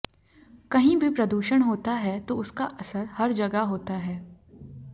कहीं भी प्रदूषण होता है तो उसका असर हर जगह होता है